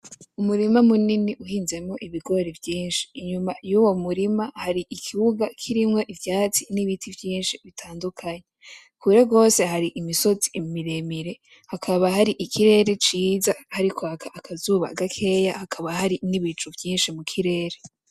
Umurima munini uhizemwo ibigori vyinshi inyuma yuwo murima har'ikibuga kirimwo ivyatsi n'ibiti vyinshi bitadukanye, kure gose hari imisozi miremire hakaba har'ikirere ciza hariko haraka akazuba gakeya hakaba hari n'ibicu vyinshi mukirere.